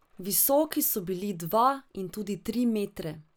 Visoki so bili dva in tudi tri metre.